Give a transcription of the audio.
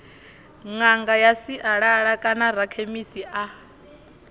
ṅanga ya sialala kanarakhemisi a